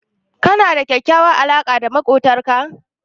Kana da kyakkyawar alaqa da maƙwabtanka?